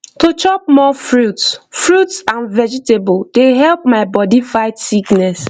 to chop more fruits fruits and vegetable dey really help my body fight sickness